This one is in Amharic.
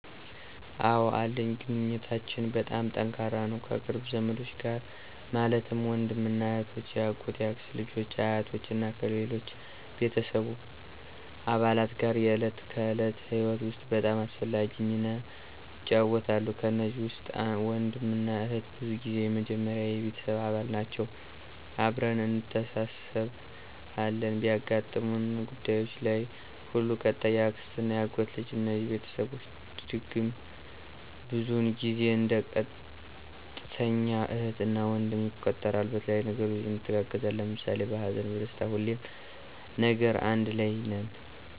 አወ አለኝ ግንኙነታችን በጣም ጠንካራ ነው ከቅርብ ዘመዶች ጋር ማለትም ወንድምና እህቶች፣ የአጎት፣ የአክስት ልጆች አ፣ አያቶች እና ከሌሎች ቤተሰብ አባላት ጋር የዕለት ከዕለት ህይወት ውስጥ በጣም አስፈላጊ ሚና ይጫወታሉ። ከነዚህ ውስጥ ወንድምና እህት ብዙ ጊዜ የመጀመሪያ የቤተሰብ አባል ናቸወ አብረን እንተሳስብ አለን በሚያጋጥሙን ጉዳዩች ለይ ሁሉ። ቀጣይ የአክስትና የአጎት ልጆች እነዚህ ቤተስቦቸ ድግም ብዙውን ጊዜው እንደ ቀጥተኛ እህት እና ወንድም ይቆጠራሉ በተለያዩ ነገሮች እንተጋገዛለን ለምሳሌ በሀዘንና በደስታ ሁሌም ነገር አንድ ለይ ነን።